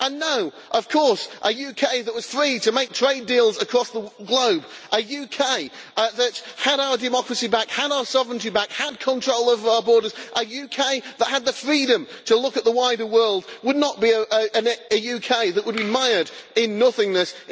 And no, of course a UK that was free to make trade deals across the globe, a UK that had our democracy back, had our sovereignty back, had control of our borders, a UK that had the freedom to look at the wider world would not be a UK that would mired in nothingness.